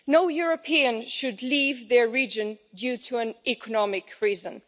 No European should leave their region for an economic reason.